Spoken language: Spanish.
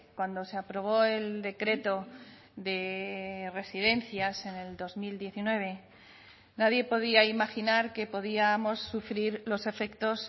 cuando se aprobó el decreto de residencias en el dos mil diecinueve nadie podía imaginar que podíamos sufrir los efectos